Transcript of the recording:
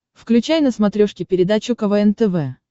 включай на смотрешке передачу квн тв